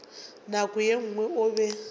nako ye nngwe o be